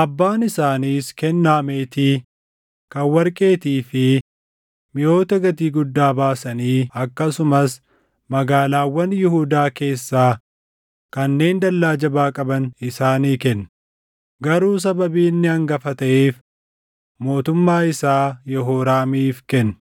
Abbaan isaaniis kennaa meetii, kan warqeetii fi miʼoota gatii guddaa baasanii akkasumas magaalaawwan Yihuudaa keessaa kanneen dallaa jabaa qaban isaanii kenne; garuu sababii inni hangafa taʼeef mootummaa isaa Yehooraamiif kenne.